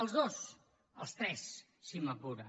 els dos els tres si m’apura